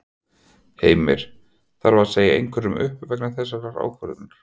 Heimir: Þarf að segja einhverjum upp vegna þessarar ákvörðunar?